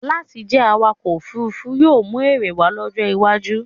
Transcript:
Láti jẹ́ awakọ̀-òfurufú yóò mú èrè wá lọ́jọ́ iwájú.